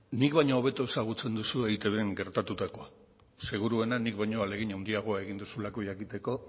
nik baino hobeto ezagutzen duzu eitbn gertatutakoa seguruenik ni baino ahalegin handiagoa egin duzulako jakiteko